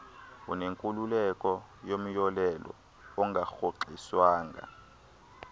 unenkululeko yomyolelo ongarhoxiswanga